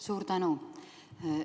Suur tänu!